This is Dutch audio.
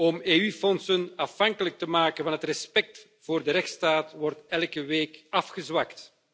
om EU fondsen afhankelijk te maken van het respect voor de rechtsstaat wordt elke week afgezwakt.